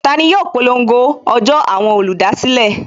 Tani yóò polongo ọjọ́ àwọn olùdásílẹ̀?